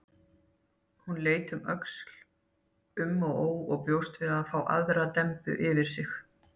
Hún leit um öxl, um og ó, bjóst við að fá aðra dembu yfir sig.